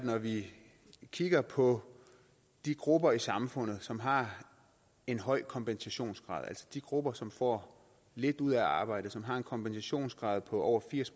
kigge på de grupper i samfundet som har en høj kompensationsgrad altså de grupper som får lidt ud af at arbejde og som har en kompensationsgrad på over firs